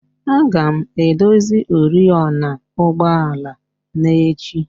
A ga-edozi oriọna ụgbọala n'echi